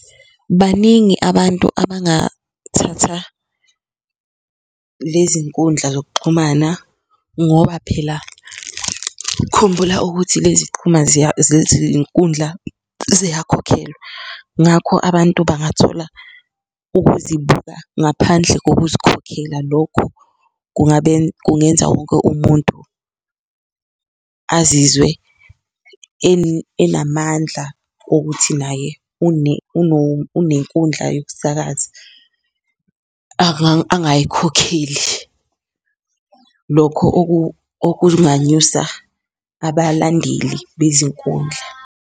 Baningi abantu abangathatha lezi nkundla zokuxhumana ngoba phela khumbula ukuthi lezi zezinkundla ziyakhokhelwa, ngakho abantu bangathola ukuzibuka ngaphandle ngokuzikhokhela. Lokho kungenza wonke umuntu azizwe enamandla okuthi naye unenkundla yokusakaza angayikhokheli lokho okunganyusa abalandeli bezinkundla.